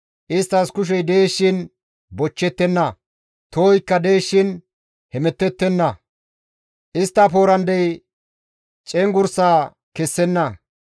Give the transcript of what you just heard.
Isttas kushey dees shin bochchettenna; tohoykka dees shin hemettettenna; istta poorandey cenggurs kessenna.